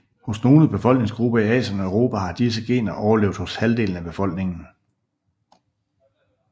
Hos nogle befolkningsgrupper i Asien og Europa har disse gener overlevet hos halvdelen af befolkningen